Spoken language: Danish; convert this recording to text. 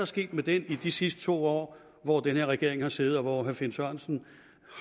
sket med den i de sidste to år hvor den her regering har siddet og hvor herre finn sørensen